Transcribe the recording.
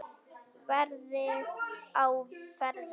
Verið á verði.